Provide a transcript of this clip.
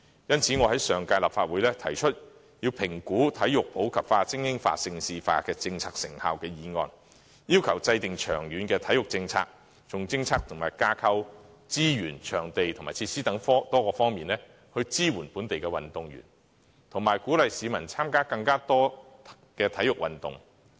因此，我在上屆立法會提出議案，要求評估體育普及化、精英化、盛事化政策的成效，制訂長遠的體育政策，從政策及架構、資源、場地及設施等多方面，支援本地運動員，以及鼓勵市民參加更多體育運動。